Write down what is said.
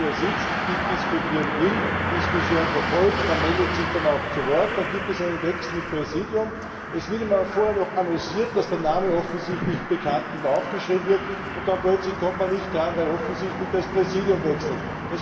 Wenn man hier sitzt, diskutieren will, die Diskussion verfolgt, man meldet sich dann auch zu Wort, dann gibt es einen Wechsel im Sitzungspräsidium, es wird vorher auch noch annonciert, dass der Name offensichtlich bekannt ist und aufgeschrieben wird, und dann plötzlich kommt man nicht dran, weil offensichtlich das Präsidium wechselt.